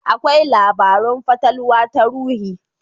Akwai labarun fatalwa ta ruhi.